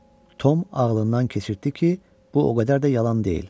Tom ağlından keçirtdi ki, bu o qədər də yalan deyil.